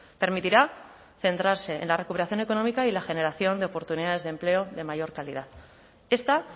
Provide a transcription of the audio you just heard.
permitirá centrarse en la recuperación económica y la generación de oportunidades de empleo de mayor calidad esta